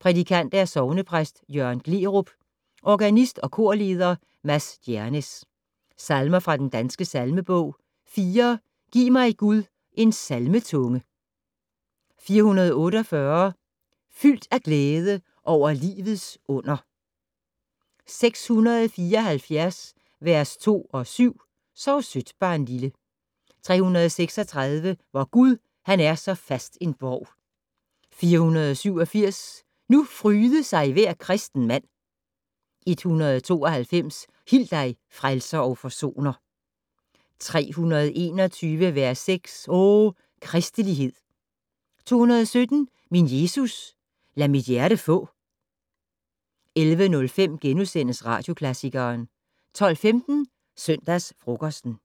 Prædikant: Sognepræst Jørgen Gleerup. Organist og korleder: Mads Djernes. Salmer fra Den Danske Salmebog: 4 "Giv mig, Gud, en salmetunge". 448 "Fyldt af glæde over livets under". 674 v. 2 og 7 "Sov sødt, barnlille". 336 "Vor Gud han er så fast en borg". 487 "Nu fryde sig hver kristenmand". 192 "Hil dig, Frelser og Forsoner". 321 v. 6 "O kristelighed!". 217 "Min Jesus, lad mit hjerte få". 11:05: Radioklassikeren * 12:15: Søndagsfrokosten